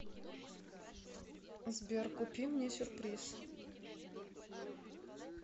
сбер купи мне сюрприз